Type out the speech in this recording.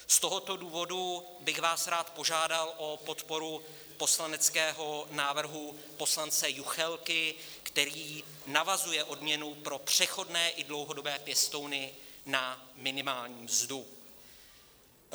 Z tohoto důvodu bych vás rád požádal o podporu poslaneckého návrhu poslance Juchelky, který navazuje odměnu pro přechodné i dlouhodobé pěstouny na minimální mzdu.